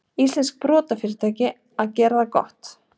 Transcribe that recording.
Íslenskt sprotafyrirtæki að gera það gott